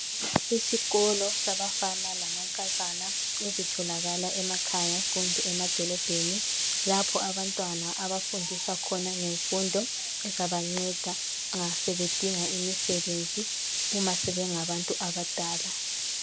Isikolo sabafana lamankazana ezitholakala emakhaya kumbe emadolobheni lapho abantwana abafundiswa khona ngemfundo ezabanceda nxa sebedinga imisebenzi uma sebengabantu abadala.